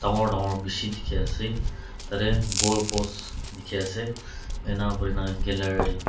bangor bangor bishi dikhi ase tateh goal post dikhi ase enia huina gallery .